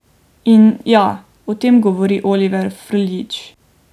In, ja, o tem govori Oliver Frljić.